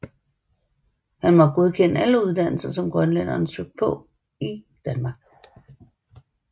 Han måtte godkende alle uddannelser som grønlændere søgte på i Danmark